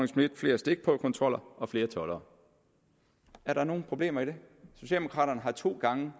schmidt flere stikprøvekontroller og flere toldere er der nogen problemer i det socialdemokraterne har to gange